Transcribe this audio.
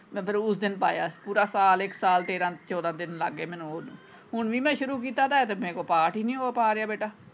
ਉਸ ਦਿਨ ਪਾਇਆ ਪੂਰਾ ਸਾਲ ਇੱਕ ਸਾਲ ਤੇਰਾਂ ਚੌਦਾਂ ਦਿਨ ਲੱਗ ਗਏ ਮੈਨੂੰ ਹੁਣ ਵੀ ਮੈਂ ਸ਼ੁਰੂ ਕੀਤਾ ਦਾ ਹੈ ਤੇ ਮੇਰੇ ਕੋਲੋਂ ਪਾਠ ਹੀ ਨਹੀਂ ਹੋ ਪਾ ਰਿਹਾ ਬੇਟਾ।